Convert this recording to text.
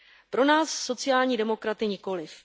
Pro nás, sociální demokraty, nikoliv.